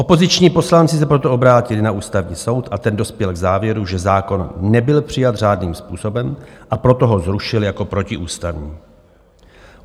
Opoziční poslanci se proto obrátili na Ústavní soud a ten dospěl k závěru, že zákon nebyl přijat řádným způsobem, a proto ho zrušil jako protiústavní.